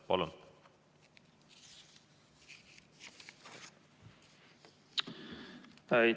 Palun!